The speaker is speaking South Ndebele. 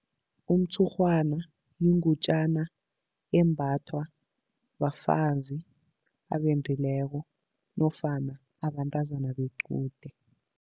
Umtshurhwana yingutjana embathwa bafazi abendileko nofana abantazana bequde.